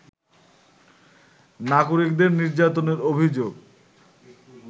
নাগরিকদের নির্যাতনের অভিযোগ